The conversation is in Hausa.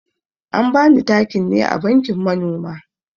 An bani takin ne a bankin manoma.